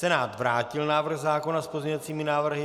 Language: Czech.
Senát vrátil návrh zákona s pozměňujícími návrhy.